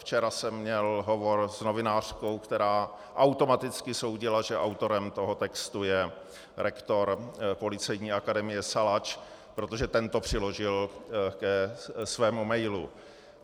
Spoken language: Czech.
Včera jsem měl hovor s novinářkou, která automaticky soudila, že autorem toho textu je rektor Policejní akademie Salač, protože ten to přiložil ke svému emailu.